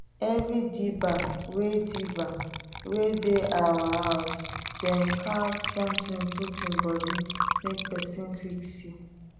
every dibber wey dibber wey dey our housedem carve somtin put em body make pesin quick see